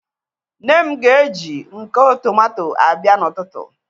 Nne m ga eji nko tomato abịa n'ututu